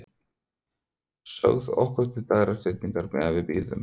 Sögð okkur til dægrastyttingar meðan við biðum.